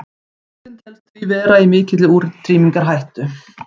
tegundin telst því vera í mikilli útrýmingarhættu